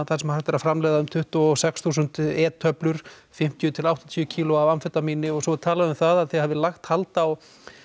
þar sem hægt er að framleiða um tuttugu og sex þúsund e töflur fimmtíu til áttatíu kílógrömm af amfetamíni og svo er líka talað um að þið hafið lagt hald á